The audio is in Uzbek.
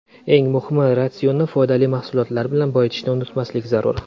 Eng muhimi, ratsionni foydali mahsulotlar bilan boyitishni unutmaslik zarur.